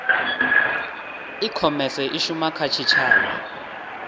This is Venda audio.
ikhomese i shuma kha tshitshavha